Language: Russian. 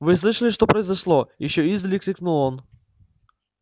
вы слышали что произошло ещё издали крикнул он